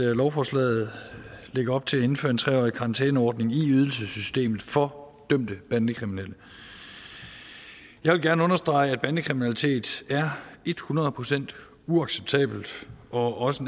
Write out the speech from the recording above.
lovforslaget lægger op til at indføre en tre årig karantæneordning i ydelsessystemet for dømte bandekriminelle jeg vil gerne understrege at bandekriminalitet er et hundrede procent uacceptabelt og også